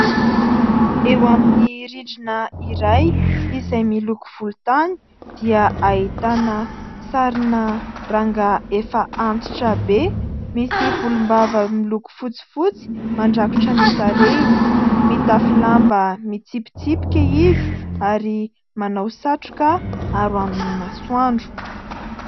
Eo amin'ny rindrina iray izay miloko volontany dia ahitana sarina rangahy efa antitra be, misy volombava miloko fotsifotsy mandrakotra ny tarehiny. Mitafy lamba mitsipitsipika izy ary manao satroka aro amin'ny masoandro.